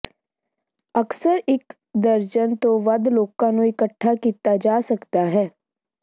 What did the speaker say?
ਅਕਸਰ ਇੱਕ ਦਰਜਨ ਤੋਂ ਵੱਧ ਲੋਕਾਂ ਨੂੰ ਇਕੱਠਾ ਕੀਤਾ ਜਾ ਸਕਦਾ ਹੈ